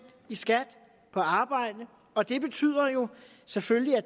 i skat af arbejde og det betyder jo selvfølgelig at